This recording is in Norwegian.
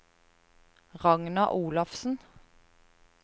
Ragna Olafsen